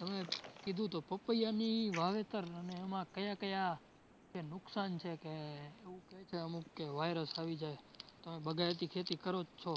હવે કીધું તો પપૈયાં વાવેતર અને એમાં કયા કયા જે નુકસાન છે કે એવું ક્યે છે અમુક કે virus આવી જાય. તમે બાગાયતી ખેતી કરો જ છો,